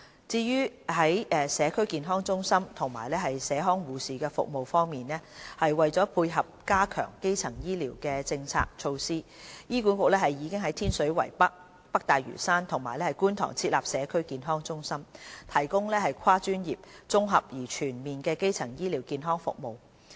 至於社區健康中心及社康護士的服務方面，為配合加強基層醫療的政策措施，醫管局已於天水圍北、北大嶼山及觀塘設立社區健康中心，提供跨專業、綜合而全面的基層醫療健康服務。